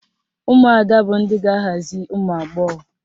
Ụmụada bụ ndị ga-aghazi ụmụagbọghọ